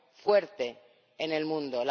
fuerte en el mundo.